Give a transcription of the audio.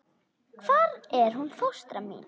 Hvar er hún fóstra mín?